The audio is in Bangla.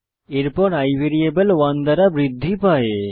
এরপর i ভ্যারিয়েবল 1 দ্বারা বৃদ্ধি পায়